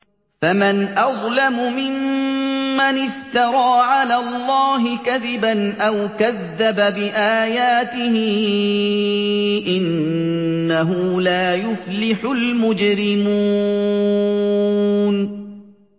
فَمَنْ أَظْلَمُ مِمَّنِ افْتَرَىٰ عَلَى اللَّهِ كَذِبًا أَوْ كَذَّبَ بِآيَاتِهِ ۚ إِنَّهُ لَا يُفْلِحُ الْمُجْرِمُونَ